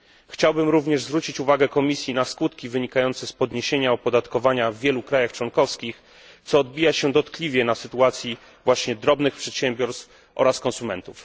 Chciałbym również zwrócić uwagę Komisji na skutki wynikające z podniesienia opodatkowania w wielu krajach członkowskich, co odbija się dotkliwie na sytuacji właśnie drobnych przedsiębiorstw oraz konsumentów.